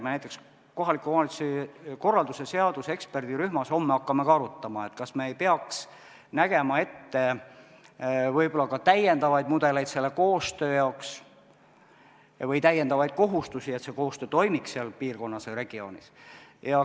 Me näiteks kohaliku omavalitsuse korralduse seaduse eksperdirühmas homme hakkame ka arutama, kas me ei peaks nägema ette täiendavaid mudeleid selle koostöö jaoks või täiendavaid kohustusi, et koostöö seal piirkonnas või regioonis toimiks.